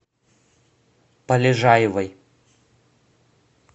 полежаевой